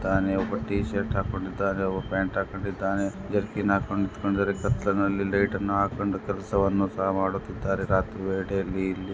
ಒಬ್ಬ T shirt ಹಾಕೊಂಡಿದ್ದಾನೆ ಒಬ್ಬ ಪ್ಯಾಂಟ್ ಹಾಕೊಂಡಿದ್ದಾನೆ ಮತ್ತೊಬ್ಬ ಜರ್ಕಿ ಹಾಕೊಂಡು ನಿಂತು ಕತ್ತಲೆಯಲ್ಲಿ ಲೈಟ್ ಅನ್ನೋ ಹಾಕಿಕೊಂಡು ಕೆಲಸವನ್ನು ಸಹ ಇಲ್ಲೇ ಮಾಡುತ್ತಿದ್ದಾರೆ ರಾತ್ರಿ ವೇಳೆ ಯಲ್ಲಿ.